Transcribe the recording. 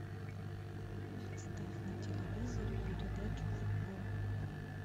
поставь на телевизоре передачу футбол